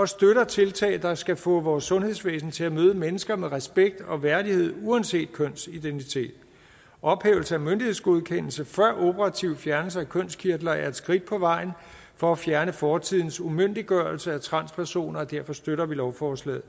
støtter tiltag der skal få vores sundhedsvæsen til at møde mennesker med respekt og værdighed uanset kønsidentitet ophævelsen af myndighedsgodkendelse før operativ fjernelse af kønskirtler er et skridt på vejen for at fjerne fortidens umyndiggørelse af transpersoner og derfor støtter vi lovforslaget